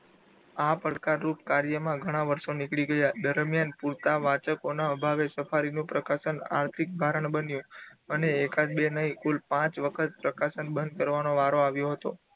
આ પડકારરૂપ કાર્યમાં ઘણા વર્ષો નીકળી ગયા દરમ્યાન પૂરતા વાચકોના અભાવે સફારીનું પ્રકાશન આર્થિક કારણ બન્યો. અને એકાદ બે નહીં કુલ પાંચ વખત પ્રકાશન બંધ કરવાનો વારો આવ્યો હતો.